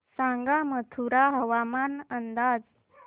सांगा मथुरा हवामान अंदाज